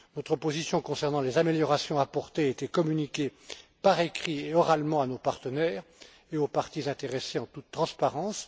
Notre position concernant les améliorations à apporter a été communiquée par écrit et oralement à nos partenaires et aux parties intéressées en toute transparence.